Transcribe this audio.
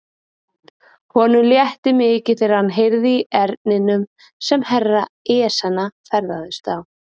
Honum létti mikið þegar hann heyrði í erninum sem Herra Ezana ferðaðist á.